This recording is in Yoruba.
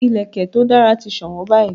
Ìlẹ̀kẹ̀ to dara ti sowon báyìí